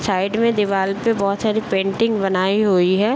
Side में दीवाल पे बहुत सारे पेंटिंग बनाई हुई है।